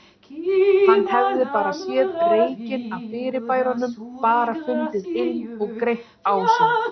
Hann hefði bara séð reykinn af fyrirbærunum, bara fundið ilm og greint ásýnd.